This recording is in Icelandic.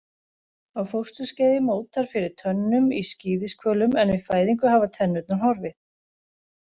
Á fósturskeiði mótar fyrir tönnum í skíðishvölum en við fæðingu hafa tennurnar horfið.